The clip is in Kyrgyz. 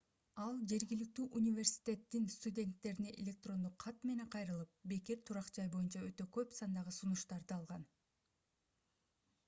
ал жергиликтүү университеттин студенттерине электрондук кат менен кайрылып бекер турак-жай боюнча өтө көп сандагы сунуштарды алган